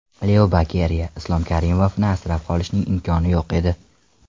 Leo Bokeriya: Islom Karimovni asrab qolishning imkoni yo‘q edi .